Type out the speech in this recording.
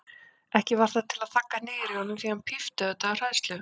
Ekki varð það til að þagga niður í honum því hann pípti auðvitað af hræðslu.